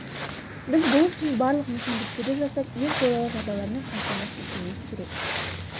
біз бұл үшін барлық мүмкіндіктерді жасап ең қолайлы жағдайлармен қамтамасыз етуіміз керек